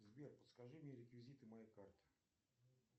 сбер подскажи мне реквизиты моей карты